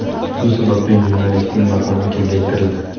Shu sababli jurnalistning maqomi kengaytirildi.